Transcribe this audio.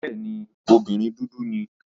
Bẹ́ẹ̀ni, obìnrin dúdú ni.